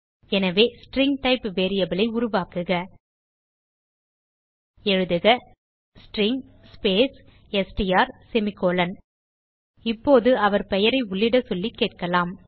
எனவே string type variable ஐ உருவாக்குக எழுதுக ஸ்ட்ரிங் ஸ்பேஸ் எஸ்டிஆர் செமிகோலன் இப்போது அவர் பெயரை உள்ளிட சொல்லி கேட்கலாம்